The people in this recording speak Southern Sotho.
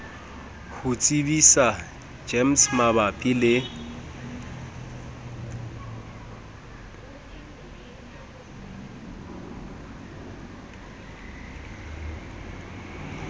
ho tsebisa gems mabapi le